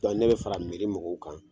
ne be fara mɔgɔw kan